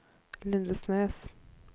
Lindesnes